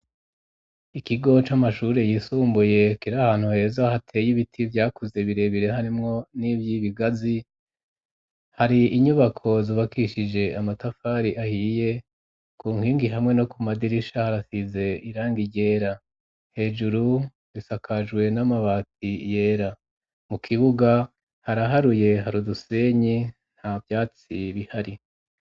Ikigo c'amashuri yisumbuye kiro ahantu heza hateye ibiti byakuze birebire harimwo n'ivy'ibigazi hari inyubako zubakishije amatafari ahiye ku nkingi hamwe no ku madirisha harasize irangi ryera hejuru bisakajwe n'amabati yera mu kibuga haraharuye hari udusenyi nta vyatsi bihari.